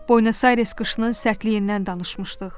Boynasayres qışının sərtliyindən danışmışdıq.